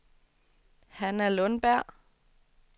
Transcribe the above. Hanna Lundberg